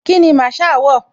Kíni Masaa wọ̀?